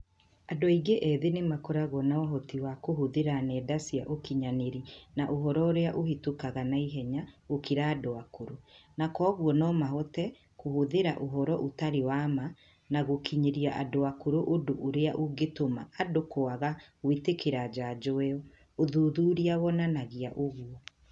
Andũ aingĩ ethĩ nĩ makoragwo na ũhoti wa kũhũthĩra nenda cia ũkinyanĩrĩa na ũhoro ũrĩa ũhĩtũkaga na ihenya gũkĩra andũ akũrũ, na kwoguo no mahote kũhũthira ũhoro ũtarĩ wa ma na gũũkinyĩria andũ akũrũ ũndũ ũrĩa ũngĩtũma andũ kwaga gũĩtĩkĩra njanjo ĩo, ũthuthuria wonanagia ũgũo.